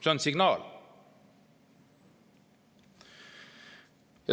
See on signaal.